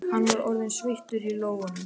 Hann var orðinn sveittur í lófunum.